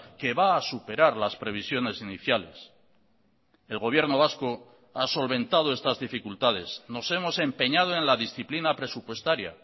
que va a superar las previsiones iniciales el gobierno vasco ha solventado estas dificultades nos hemos empeñado en la disciplina presupuestaria